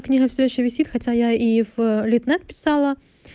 книга все ещё висит хотя я и в литнет писала